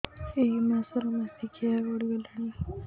ଏଇ ମାସ ର ମାସିକିଆ ଗଡି ଗଲାଣି